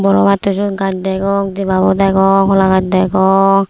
arow atto siyot gaj degong deba bu degong holagaj degong.